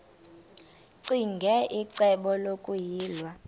ccinge icebo lokuyilwa